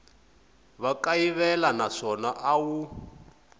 wa kayivela naswona a wu